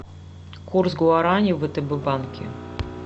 курс гуарани в втб банке